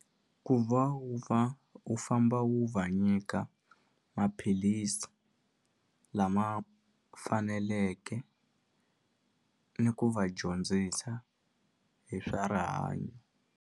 Ku va wu va wu famba wu va nyika maphilisi lama faneleke ni ku va dyondzisa hi swa rihanyo.